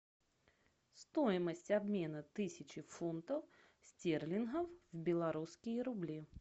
стоимость обмена тысячи фунтов стерлингов в белорусские рубли